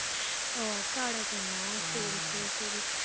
ஓ அக்காவோட பொண்ணா சரி, சரி, சரி